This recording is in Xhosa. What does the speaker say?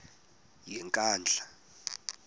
yenkandla